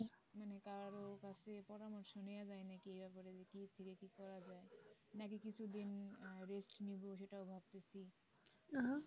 মানে কারো কাছে পরামর্শ নিয়ে যায় কিনা এই ব্যাপারে কি থেকে কি করা যায় নাকি কিছুদিন আহ rest নিবো সেটাও ভাবতেছি